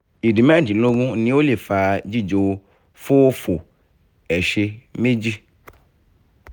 ìdí mé̩rìndínló̩gó̩rin ní ó lè fá jíjò fóòfò ẹ̀s̩e méjì